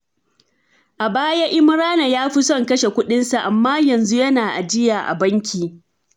A baya, Imrana ya fi son kashe kuɗinsa, amma yanzu yana ajiya a banki.